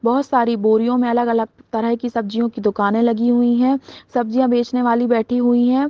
बहुत सारी बोरियो मे अलग-अलग तरह की सब्जियों की दुकाने लगी हुई है सब्जिया बेचने वाली बैठी हुई है।